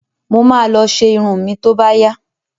Mo ma lọ ṣe irun mi tó bá yá